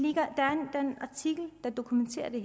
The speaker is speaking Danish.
artikel der dokumenterer det